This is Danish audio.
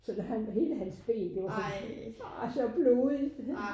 Så da han hele hans ben det var bare så blodigt